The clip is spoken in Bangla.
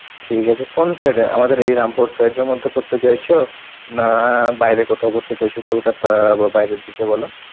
ঠিক আছে কোন side এর? আমাদের এই রামপুর side এর মধ্যে করতে চাইছো? না বাইরে কোথাও করতে চাইছো কলকাতা বা বাইরের দিকে বলো?